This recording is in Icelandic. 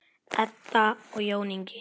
Edda og Jón Ingi.